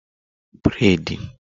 Breidi